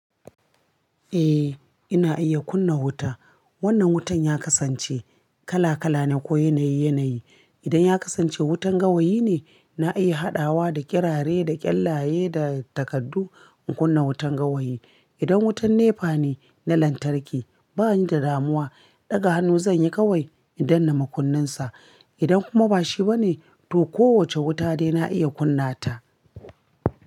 Eh, ina iya kunna wuta. Wannan wutan ya kasance kala-kala ne ko yanayi-yanayi. Idan ya kasance wutan gawayi ne, na iya haɗawa da ƙirare, da ƙyallaye, da takardu in kunna wutan gawayi. Idan wutan nefa ne na lantarki, bani da damuwa, ɗaga hannu zan yi kawai in danna makunninsa. Idan kuma ba shi ba ne, to kowace wuta dai na iya kunna ta.